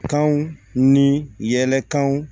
Kanw ni yɛlɛkanw